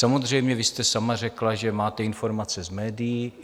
Samozřejmě vy jste sama řekla, že máte informace z médií.